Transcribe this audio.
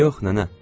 Yox, nənə.